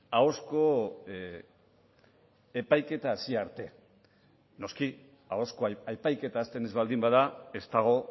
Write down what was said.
ahozko epaiketa hasi arte noski ahozko epaiketa hasten ez baldin bada ez dago